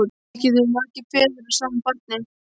Ekki geta verið margir feður að sama barni!